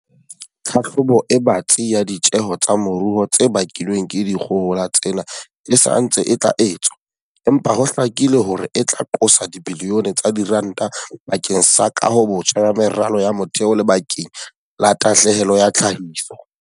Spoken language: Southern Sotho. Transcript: Tlhahlobo e batsi ya ditjeho tsa moruo tse bakilweng ke dikgohola tsena e sa ntse e tla etswa, empa ho hlakile hore e tla qosa dibilione tsa diranta ba keng sa kahobotjha ya meralo ya motheo le bakeng la tahlehelo ya tlhahiso.